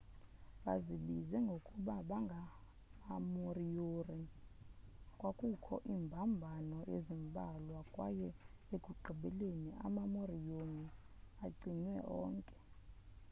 bazibiza ngokuba bangamamoriori kwakukho iimbambano ezimbalwa kwaye ekugqibeleni amamoriori acinywa onke